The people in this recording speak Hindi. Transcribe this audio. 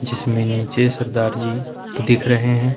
जिसमें नीचे सरदार जी दिख रहे हैं।